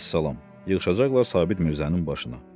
Vəssalam, yığışacaqlar Sabit Mirzənin başına.